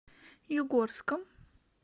югорском